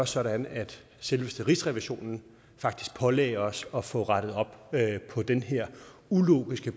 sådan at selveste rigsrevisionen faktisk pålagde os at få rettet op på den her ulogiske